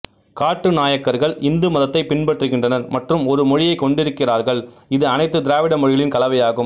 காட்டு நாயக்கர்கள் இந்து மதத்தை பின்பற்றுகின்றனர் மற்றும் ஒரு மொழியைக் கொண்டிருக்கிறார்கள் இது அனைத்து திராவிட மொழிகளின் கலவையாகும்